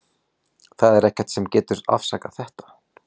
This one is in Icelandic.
Það er ekkert sem getur afsakað þetta.